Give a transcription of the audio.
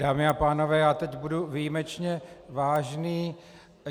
Dámy a pánové, já teď budu výjimečně vážný.